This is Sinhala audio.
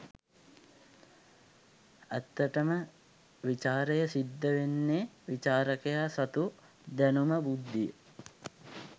ඇත්තට ම විචාරය සිද්ධ වෙන්නෙ විචාරකයා සතු දැනුම බුද්ධිය